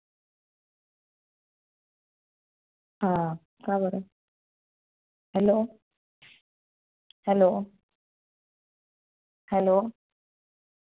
हं काबर hello? hello? hello?